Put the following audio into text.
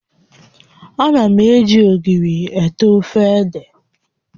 Ana m eji ogiri eai ofe ede